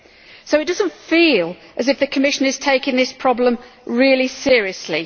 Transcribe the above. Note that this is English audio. So it does not feel as though the Commission is taking this problem really seriously.